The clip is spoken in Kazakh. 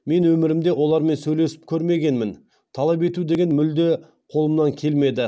мен өмірімде олармен сөйлесіп көрмегенмін талап ету деген мүлде қолымнан келмеді